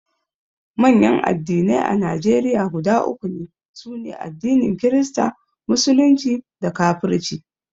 manyan addinai a Najeriya guda uku ne: sune addinin kirista, musulunci da kafirci